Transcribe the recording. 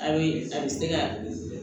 A bɛ a bɛ se ka